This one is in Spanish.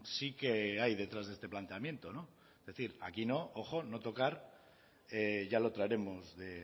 sí que hay detrás de este planteamiento es decir aquí no ojo no tocar ya lo traeremos de